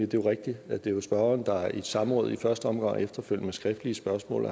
det er rigtigt at det er spørgeren der i et samråd i første omgang og efterfølgende med skriftlige spørgsmål